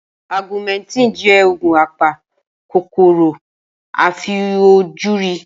Augumentin jẹ́ òògùn apa kòkòrò àìfojúrí.